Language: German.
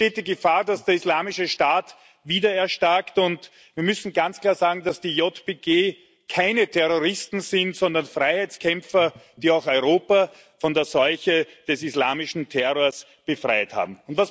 Es besteht die Gefahr, dass der Islamische Staat wieder erstarkt, und wir müssen ganz klar sagen, dass die YPG keine Terroristen sind, sondern Freiheitskämpfer, die auch Europa von der Seuche des islamischen Terrors befreit haben.